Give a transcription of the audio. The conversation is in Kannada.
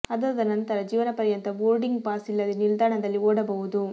ಅದಾದ ನಂತರ ಜೀವನ ಪರ್ಯಂತ ಬೋರ್ಡಿಂಗ್ ಪಾಸ್ ಇಲ್ಲದೇ ನಿಲ್ದಾಣದಲ್ಲಿ ಓಡಾಡಬಹುದು